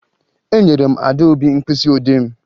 Enyere m Adaobi mkpịsịodee m